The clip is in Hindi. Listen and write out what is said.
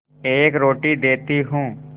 एक रोटी देती हूँ